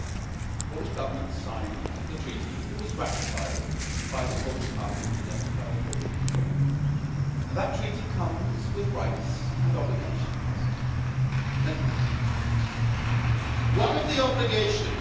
The Polish Government signed the Treaty on European Union, it was ratified by the Polish Parliament, elected by the Polish people, and that Treaty comes with rights and obligations.